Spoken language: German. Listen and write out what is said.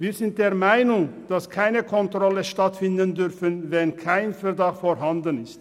» Wir sind der Meinung, dass keine Kontrollen stattfinden dürfen, wenn kein Verdacht vorhanden ist.